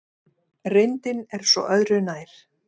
Reyndin er svo öðru nær.